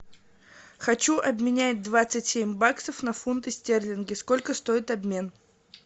хочу обменять двадцать семь баксов на фунты стерлинги сколько стоит обмен